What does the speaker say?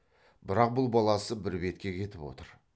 бірақ бұл баласы бір бетке кетіп отыр